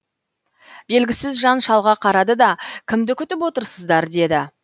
белгісіз жан шалға қарады да кімді күтіп отырсыздар деді